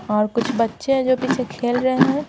और कुछ बच्चे हैं जो पीछे खेल रहे हैं।